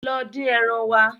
Lọ dín ẹran wa.